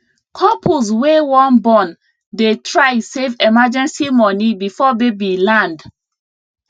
couples wey wan born dey try save emergency money before baby land